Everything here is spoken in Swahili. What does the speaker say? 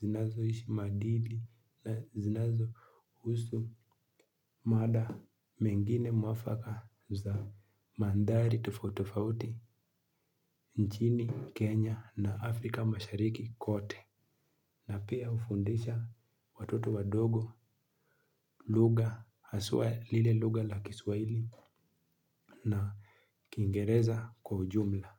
zinazo ishi madili na zinazo husu mada mengine mwafaka za mandari tufautitufauti nchini Kenya na Afrika mashariki kote. Na pia ufundisha watoto wadogo lugha haswa lile lugha la kiswahili na kiingereza kwa ujumla.